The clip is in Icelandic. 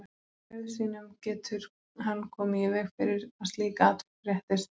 Með auð sínum getur hann komið í veg fyrir að slík atvik fréttist.